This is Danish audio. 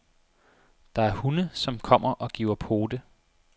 Der er hunde, som kommer og giver pote.